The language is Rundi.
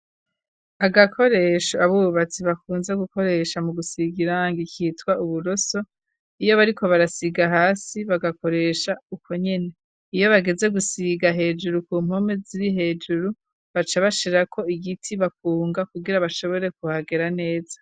Agakoresho, abubatsi bakunze, gukoresha, mu gusiga irangi, kitwa uburoso; iyo bariko barasiga hasi, bagakoresha, uko nyene; iyo bageze, gusiga hejuru, ku mpome ziri hejuru, baca bashirako igiti, bakunga, kugira bashobore, kuhagera neza.